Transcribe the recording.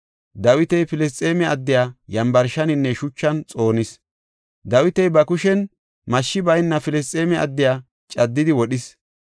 Dawiti Filisxeeme addiya yambarshaninne shuchan xoonis. Dawiti ba kushen mashshi bayna Filisxeeme addiya caddidi wodhis.